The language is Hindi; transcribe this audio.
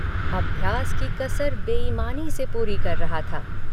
अभ्यास की कसर बेईमानी से पूरी कर रहा था।